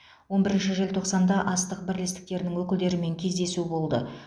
он бірінші желтоқсанда астық бірлестіктерінің өкілдерімен кездесу болды